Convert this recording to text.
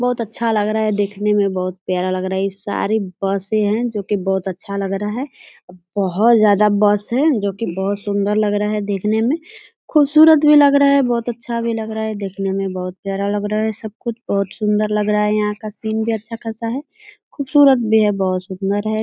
बहुत अच्छा लग रहा है देखने में बहुत प्यारा लग रहा है इ सारी बसे हैं जो की बहुत अच्छा लग रहा है बहुत ज्यादा बस है जो की बहुत सुंदर लग रहा है देखने में खूबसूरत भी लग रहे हैं बहुत अच्छा भी लग रहा है देखने में बहुत प्यारा लग रहा है सब कुछ बहुत सुंदर लग रहा है यहां का सीन भी अच्छा खासा है खूबसूरत भी है बहुत सुंदर है।